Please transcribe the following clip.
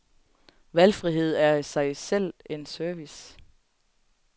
Valgfrihed er i sig selv en service.